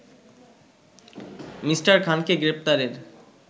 Me. খানকে গ্রেপ্তারের